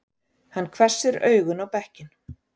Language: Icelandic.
Hann hvessir augun á bekkinn.